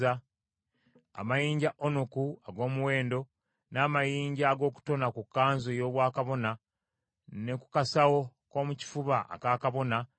n’amayinja aga onuku n’amayinja amalala ag’omuwendo, ag’okutona ku kkanzu ey’obwakabona eyitibwa efodi, era ne ku kyomukifuba.